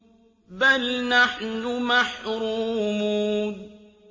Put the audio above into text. بَلْ نَحْنُ مَحْرُومُونَ